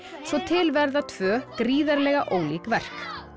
svo til verða tvö gríðarlega ólík verk